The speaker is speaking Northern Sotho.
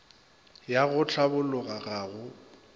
ya go hlabologa ga go